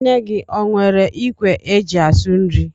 Nne gị o nwere ikwe é jị asụ nri?